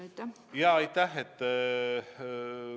Aitäh!